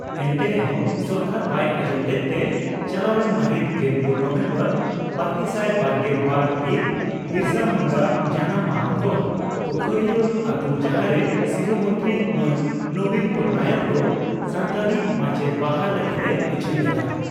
ᱮᱱᱛᱮ ᱨᱮᱦᱚᱸ ᱥᱚᱨᱠᱟᱨ ᱵᱟᱭ ᱟᱸᱡᱚᱢ ᱞᱮᱫᱛᱮ ᱪᱟᱞᱟᱣᱮᱱ ᱢᱟᱹᱦᱤᱛ ᱜᱮᱞᱯᱩᱱ ᱱᱚᱵᱷᱮᱢᱵᱚᱨ ᱵᱟᱨᱜᱮᱥᱟᱭ ᱵᱥᱨᱜᱮᱞ ᱵᱟᱨ ᱦᱤᱛ ᱵᱤᱨᱥᱟᱹ ᱢᱩᱱᱰᱟᱹ ᱡᱟᱱᱟᱢ ᱢᱟᱦᱟ ᱠᱷᱚᱱ ᱯᱚᱠᱷᱳᱨᱤᱭᱟᱹ ᱟᱹᱛᱩ ᱡᱟᱦᱟᱸᱨᱮ ᱥᱤᱨᱟᱹ ᱢᱚᱱᱛᱨᱤ ᱢᱟᱱ ᱱᱚᱵᱤᱱ ᱯᱚᱴᱱᱟᱭᱮᱠ ᱫᱚ ᱥᱟᱱᱛᱟᱲᱤ ᱢᱟᱪᱮᱛ ᱵᱟᱦᱟᱞ ᱞᱟᱹᱜᱤᱫ ᱮ ᱩᱪᱷᱟᱹᱱ ᱞᱮᱫᱼᱟ